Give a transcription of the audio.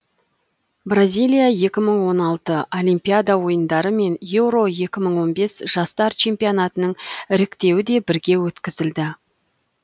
бразилия екі мың он алты олимпиада ойындары мен еуро екі мың он бес жастар чемпионатының іріктеуі де бірге өткізілді